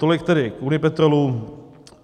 Tolik tedy k Unipetrolu.